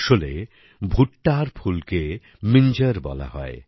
আসলে ভুট্টার ফুল কে মিঞ্জর বলা হয়